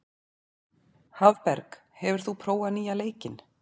Hafberg, hefur þú prófað nýja leikinn?